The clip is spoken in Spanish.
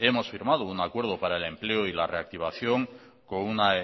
hemos firmado un acuerdo para el empleo y la reactivación con una